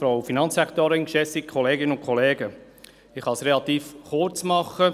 Ich kann es relativ kurz machen.